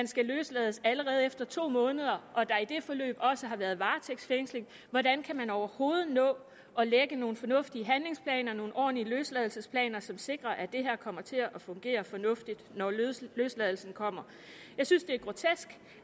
skal løslades allerede efter to måneder og der i det forløb også har været varetægtsfængsling hvordan kan man overhovedet nå at lægge nogle fornuftige handlingsplaner nogle ordentlige løsladelsesplaner som sikrer at det her kommer til at fungere fornuftigt når løsladelsen kommer jeg synes det er grotesk